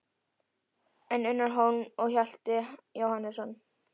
En Unnar Hólm og Hjalti Jóhannesson?